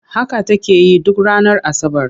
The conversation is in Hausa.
Haka take yi duk ranar Asabar.